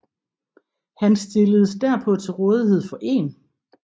Han stilledes derpå til rådighed for 1